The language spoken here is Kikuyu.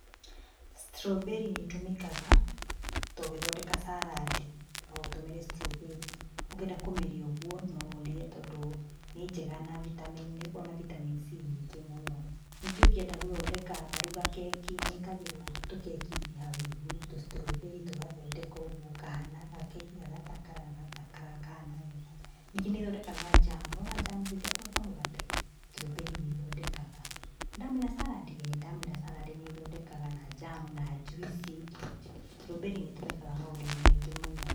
Strawberry nĩ ĩtũmĩkaga tũgĩthondeka salad, no ũtũmĩre strawberry, ũngĩenda kũmĩrĩa ũguo, no ũrie tondũ nĩ njega na vitamin nĩ ĩkoragwo na vitamin C nyingĩ mũno, nĩkĩo ungĩenda gũthondeka ta rĩu gakeki nĩ ĩkagĩrwo tũkeki-inĩ hau igũrũ, tũ strawberry tũgathondeka ũguo kahana, gakeki gagathakara gakahana wega. Ningĩ nĩ ithondekaga njamu, nĩwona njamu icio cia kũhaka mũgate, strawberry nĩ ithondekaga. Nĩndamwĩra salad? ĩĩ nĩ ndamwĩra salad nĩ ĩthondekaga na njamu, na njuici, strawberry nĩ ĩtũmĩkaga maũndũinĩ maingĩ mũno.